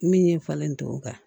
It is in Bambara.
Min ɲɛ falen tɔ o kan